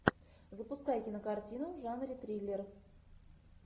запускай кинокартину в жанре триллер